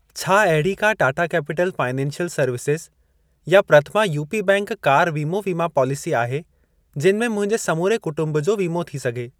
छा अहिड़ी का टाटा कैपिटल फाइनेंशियल सर्वसिस या प्रथमा यूपी बैंक कार वीमो वीमा पॉलिसी आहे जिन में मुंहिंजे समूरे कुटुंब जो वीमो थी सघे।